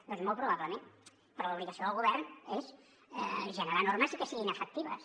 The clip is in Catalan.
doncs molt probablement però l’obligació del govern és generar normes i que siguin efectives